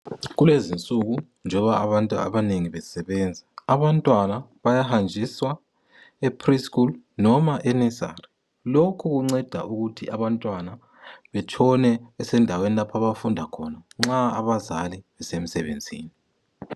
Kulezinsuku njoba abantu abanengi besebenza abantwana bayahanjiswa epre-school noma enursary lokhu kunceda ukuthi abantwana betshone besendaweni lapho abafunda khona nxa abazali besemsebenzini.